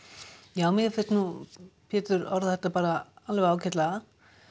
já mér finnst nú Pétur orða þetta bara ágætlega